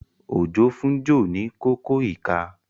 Ojo fún Joe ní Kókó ìka.